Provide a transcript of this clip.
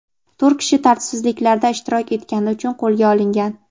to‘rt kishi tartibsizliklarda ishtirok etgani uchun qo‘lga olingan.